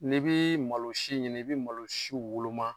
N'i bi malo si ɲini, i bɛ malosiw woloma.